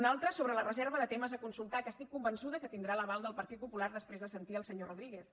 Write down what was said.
una altra sobre la reserva de temes a consultar que estic convençuda que tindrà l’aval del partit popular després de sentir el senyor rodríguez